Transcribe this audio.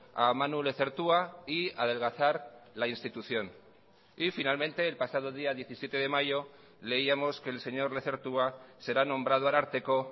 a manu lezertua y a adelgazar la institución y finalmente el pasado día diecisiete de mayo leíamos que el señor lezertua será nombrado ararteko